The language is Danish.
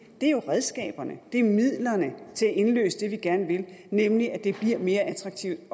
er jo redskaberne det er midlerne til at indløse det vi gerne vil nemlig at det bliver mere attraktivt